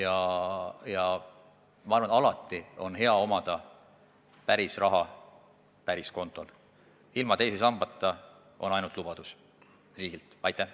Aga ma arvan, et alati on hea omada päris raha päris kontol, ilma teise sambata peame tuginema ainult riigi lubadustele.